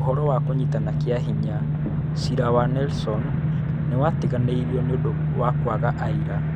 Ũhoro wa kũnyitana kĩa hinya : Ciira wa Nelson nĩ watiganĩirio nĩ ũndũ wa kwaga aira.